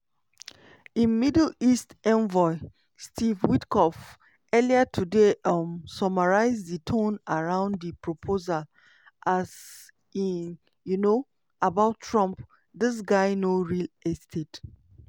im middle east envoy steve witkoff earlier today um summarise di tone around di proposal as e um about trump "dis guy know real estate".